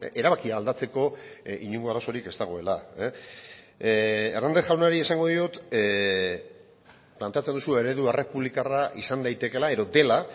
erabakia aldatzeko inongo arazorik ez dagoela hernández jaunari esango diot planteatzen duzu eredu errepublikarra izan daitekeela edo dela